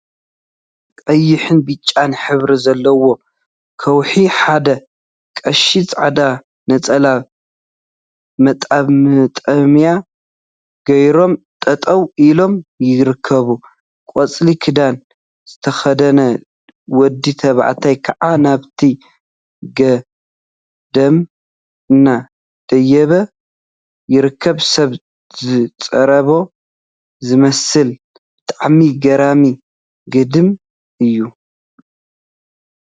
ቀይሕን ብጫን ሕብሪ ዘለዎ ከውሒ ሓደ ቀሺ ፃዕዳ ነፀላን መጠምጠምያን ገይሮም ጠጠው ኢሎም ይርከቡ፡፡ ቆፃል ክዳን ዝተከደነ ወዲ ተባዕታይ ከዓ ናብቲ ገዳም እናደየበ ይርከብ፡፡ ሰብ ዝፀረቦ ዝመስል ብጣዕሚ ገራሚ ገዳም እዩ፡፡